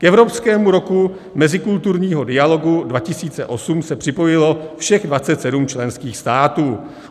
K Evropskému roku mezikulturního dialogu 2008 se připojilo všech 27 členských států.